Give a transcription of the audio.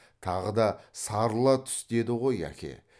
тағы да сарыла түс деді ғой әке